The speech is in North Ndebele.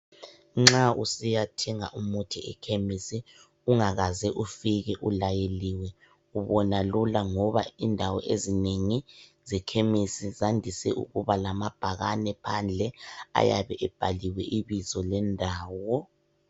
Nxa usiyathenga umuthi ekhemisi ungakaze ufike ulayeliwe ubona lula ngoba indawo ezinengi zekhemisi zandise ukuba lamabhakane phandle ayabe ebhaliwe ibizo lendawo.